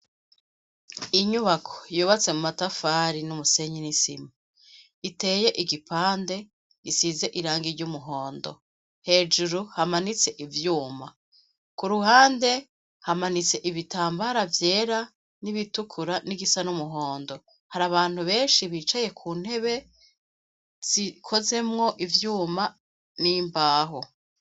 Inyubako yubatse mu matafari n'umusenyi n'isima iteye igipande isize iranga ry'umuhondo, hejuru hamanitse ivyuma ku ruhande hamanitse ibitambara vyera n'ibitukura n'igisa n'umuhondo hari abantu benshi bicaye ku ntebe zikozemwo ivyuma n'imbaho.